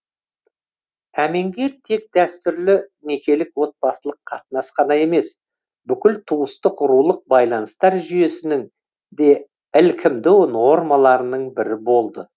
әмеңгер тек дәстүрлі некелік отбасылық қатынас қана емес бүкіл туыстық рулық байланыстар жүйесінің де ілкімді нормаларының бірі болды